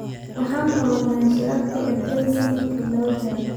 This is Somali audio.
Waxaan qabanaa shirarka ergada sanadkii laba jeer?